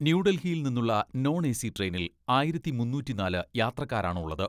ന്യൂഡൽഹിയിൽ നിന്നുള്ള non AC ട്രെയിനിൽ ആയിരത്തി മുന്നൂറ്റിനാല് യാത്രക്കാരാണുള്ളത്.